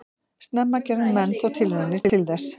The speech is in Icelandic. Snemma gerðu menn þó tilraunir til þess.